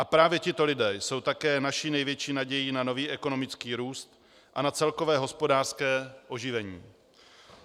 A právě tito lidé jsou také naší největší nadějí na nový ekonomický růst a na celkové hospodářské oživení.